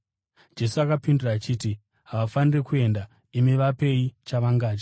Jesu akapindura achiti, “Havafaniri kuenda. Imi vapei chavangadye.”